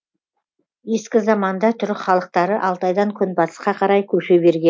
ескі заманда түрік халықтары алтайдан күнбатысқа қарай көше